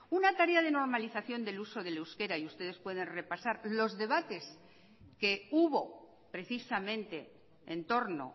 una tarea de normalización del uso del euskera y ustedes pueden repasar los debates que hubo precisamente en torno